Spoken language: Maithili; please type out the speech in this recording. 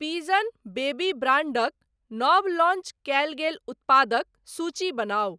पिजन बेबी ब्रांडक नव लॉन्च कयल गेल उत्पादक सूची बनाउ।